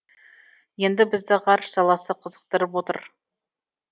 енді бізді ғарыш саласы қызықтырып отыр